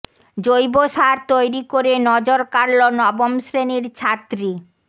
জৈব সার তৈরি করে নজর কাড়ল নবম শ্রেণির ছাত্রী